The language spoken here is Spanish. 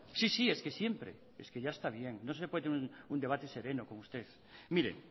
sí sí es que siempre es que ya está bien no se puede tener un debate sereno con usted mire